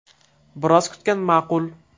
Biroz kutgan ma’qul.